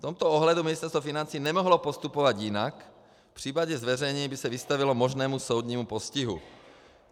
V tomto ohledu Ministerstvo financí nemohlo postupovat jinak, v případě zveřejnění by se vystavilo možnému soudnímu postihu.